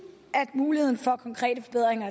muligheden for konkrete forbedringer